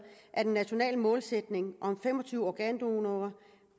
at en national målsætning om fem og tyve organdonorer